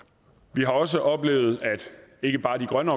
vi har også oplevet at ikke bare de grønne